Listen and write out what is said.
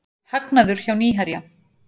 Hagnaður hjá Nýherja